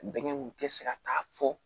Bɛnkɛ kun tɛ se ka taa fɔ